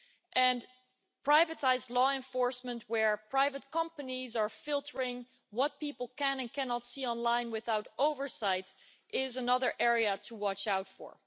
And privatised law enforcement, where private companies are filtering what people can and cannot see online without oversight, is another area to watch out for.